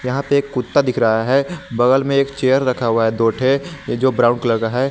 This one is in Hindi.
यहां पे एक कुत्ता दिख रहा है बगल में एक चेयर रखा हुआ है दो ठे य जो ब्राउन कलर का है।